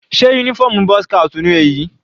Sé uniform boy's scout ni èyí?